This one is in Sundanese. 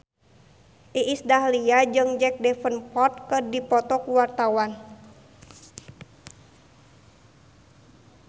Iis Dahlia jeung Jack Davenport keur dipoto ku wartawan